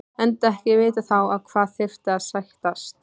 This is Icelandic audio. Enda ekki vitað þá á hvað þyrfti að sættast.